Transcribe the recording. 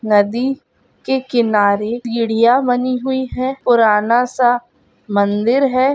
नदी के किनारे सीढ़ियां बनी हुई है पुराना सा मंदिर है।